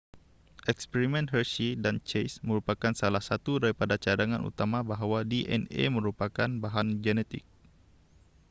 eksperimen hershey dan chase merupakan salah satu daripada cadangan utama bahawa dna merupakan bahan genetik